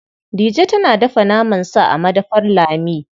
Dije tana dafa naman sa a madafar Lami.